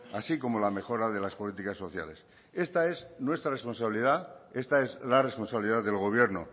así como la mejora de las políticas sociales esta es nuestra responsabilidad esta es la responsabilidad del gobierno